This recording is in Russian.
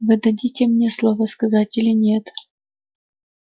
вы дадите мне слово сказать или нет